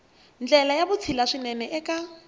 ndlela ya vutshila swinene eka